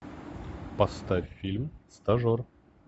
поставь фильм стажер